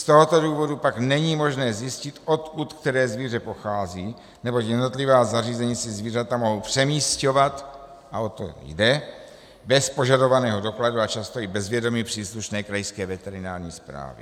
Z tohoto důvodu pak není možné zjistit, odkud které zvíře pochází, neboť jednotlivá zařízení si zvířata mohou přemisťovat, a o to jde, bez požadovaného dokladu a často i bez vědomí příslušné krajské veterinární správy.